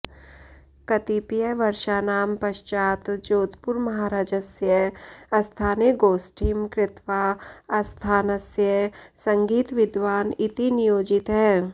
कतिपयवर्षाणां पश्चात् जोधपुरमहारजस्य अस्थाने गोष्ठिं कृत्वा आस्थानस्य सङ्गीतविद्वान् इति नियोजितः